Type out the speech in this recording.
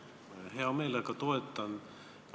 Ma hea meelega toetan seda.